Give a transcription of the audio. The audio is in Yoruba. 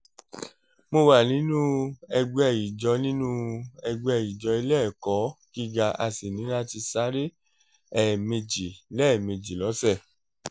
mo wà nínú ẹgbẹ́ ìjó nínú ẹgbẹ́ ìjó ilé ẹ̀kọ́ gíga a sì ní láti sáré ẹ̀ẹ̀mejì lẹ́ẹ̀mejì lọ́sẹ̀